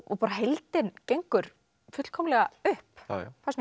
bara heildin gengur fullkomlega upp fannst mér